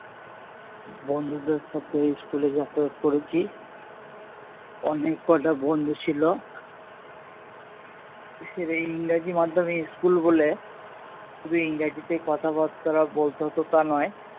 বন্ধুদের সাথে school এ যাতায়াত করেছি অনেক কটা বন্ধু ছিল ইংরাজি মাধ্যম school বলে শুধু ইংরেজিতেই কথাবাত্রা বলতে হতো তা নয়